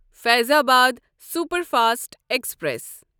Faizabad superfast express